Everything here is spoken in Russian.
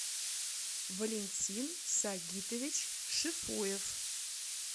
валентин сагитович шифуев